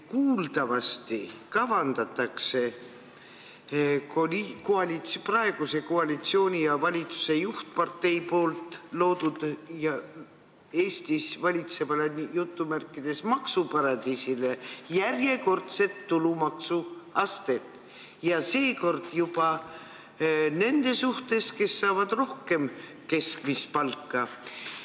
Kuuldavasti kavandatakse praeguse koalitsiooni ja valitsuse juhtpartei loodud ja Eestis valitsevas "maksuparadiisis" järjekordset tulumaksuastet, seekord juba nende suhtes, kes saavad rohkem kui keskmist palka.